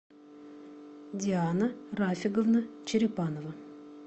диана рафиговна черепанова